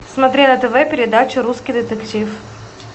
смотри на тв передачу русский детектив